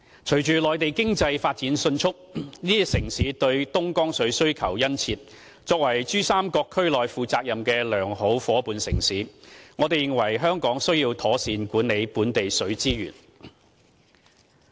隨着內地經濟發展迅速，這些城市對東江水需求殷切，作為珠三角區內負責任的良好夥伴城市，我們認為香港須要妥善管理本地水資源。